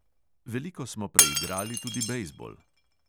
Veliko smo preigrali tudi bejzbol ...